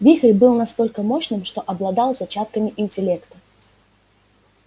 вихрь был настолько мощным что обладал зачатками интеллекта